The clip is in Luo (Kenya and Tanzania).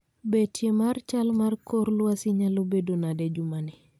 Betie mar chal mar kor lwasi nyalo bedo nade jumani